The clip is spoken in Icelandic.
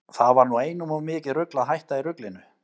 Það var nú einum of mikið rugl að hætta í ruglinu.